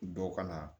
Dɔw ka na